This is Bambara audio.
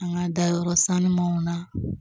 An ka dayɔrɔ sanumanw na